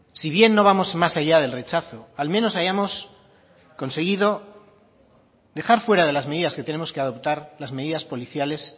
si bien no vamos más allá del rechazo al menos hayamos conseguido dejar fuera de las medidas que tenemos que adoptar las medidas policiales